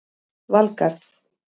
Valgarð